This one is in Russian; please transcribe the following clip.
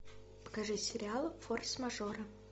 покажи сериал форс мажоры